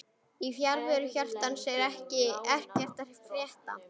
Í fjarveru hjartans er ekkert að frétta